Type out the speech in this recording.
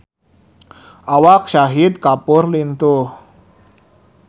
Awak Shahid Kapoor lintuh